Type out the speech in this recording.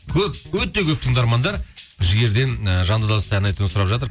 көп өте көп тыңдармандар жігерден ы жанды дауыста ән айтуын сұрап жатыр